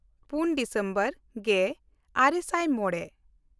ᱯᱩᱱ ᱰᱤᱥᱮᱢᱵᱚᱨ ᱜᱮᱼᱟᱨᱮ ᱥᱟᱭ ᱢᱚᱬᱮ